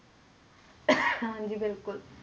ਹਾਂਜੀ ਬਿਲਕੁਲ,